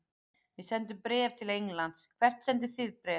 Við sendum bréf til Englands. Hvert sendið þið bréf?